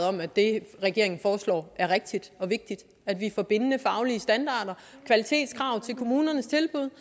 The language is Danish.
om at det regeringen foreslår er rigtigt og vigtigt at vi får bindende faglige standarder kvalitetskrav til kommunernes tilbud